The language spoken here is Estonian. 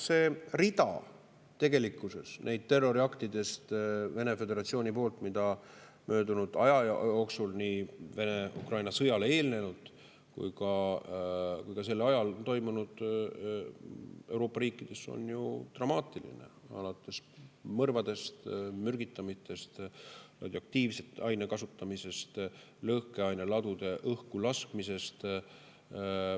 Tegelikkuses see rida neist Vene föderatsiooni terroriaktidest, mis nii Vene-Ukraina sõjale eelnenud ajal kui ka sõja ajal on toimunud Euroopa riikides, on ju dramaatiline, alates mõrvadest, mürgitamistest, radioaktiivse aine kasutamisest, lõhkeaineladude õhkulaskmisest.